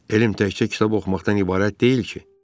Elm təkcə kitab oxumaqdan ibarət deyil ki.